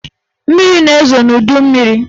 Mmiri na-ezo n'udummiri